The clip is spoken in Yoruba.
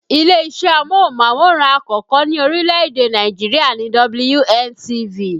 Ilé-isẹ́ amóhùnmáwòrán àkọ́kọ́ ní orílè-èdè Nàìjirià ni WNTV